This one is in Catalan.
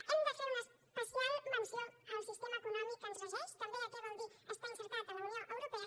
hem de fer una especial menció al sistema econòmic que ens regeix també què vol dir estar inserit a la unió europea